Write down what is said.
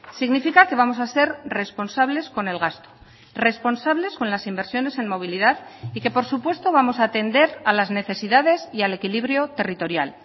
significa que vamos a ser responsables con el gasto responsables con las inversiones en movilidad y que por supuesto vamos a atender a las necesidades y al equilibrio territorial